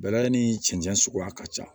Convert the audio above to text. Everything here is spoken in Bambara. Bɛlɛ ni cɛncɛn suguya ka ca